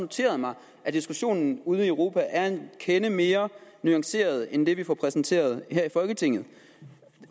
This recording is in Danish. noteret mig at diskussionen ude i europa er en kende mere nuanceret end det vi får præsenteret her i folketinget